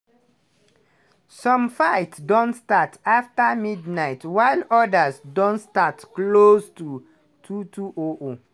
some fights don start afta midnight while odas don start closer to 22:00.